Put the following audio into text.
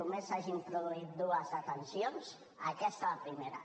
només s’hagin produït dues detencions aquesta la primera